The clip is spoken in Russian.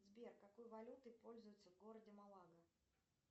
сбер какой валютой пользуются в городе малага